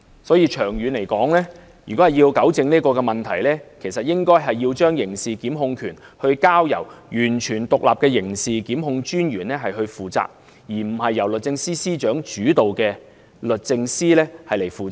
所以，長遠而言，為糾正這問題，應該將刑事檢控權交由完全獨立的刑事檢控專員負責，而不是由律政司司長主導的律政司負責。